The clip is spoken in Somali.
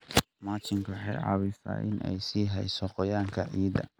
Mulching waxa ay caawisaa in ay sii hayso qoyaanka ciidda.